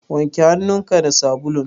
Wanke hannun ka da sabulun.